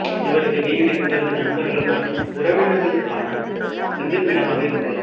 இவரது வீடு இவரது நண்பர்கள் மற்றும் உறவினர்களுக்கான சந்திப்பு இடமாக இருந்தது